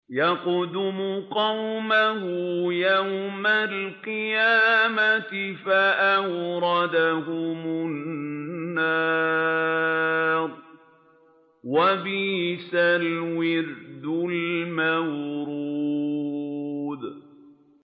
يَقْدُمُ قَوْمَهُ يَوْمَ الْقِيَامَةِ فَأَوْرَدَهُمُ النَّارَ ۖ وَبِئْسَ الْوِرْدُ الْمَوْرُودُ